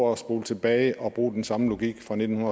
at spole tilbage og brug den samme logik fra nitten